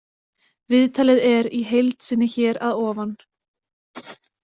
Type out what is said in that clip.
Viðtalið er í heild sinni hér að ofan.